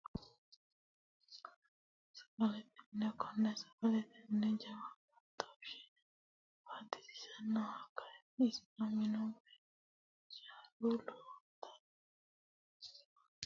Sagalete mine kone sagalete mine jawa baatoshe batisisanoha ikanna isino minu woyi ijaaru lowontani jawa ikke leelanotano seekine misilete aana buuxo asinoomo yaate.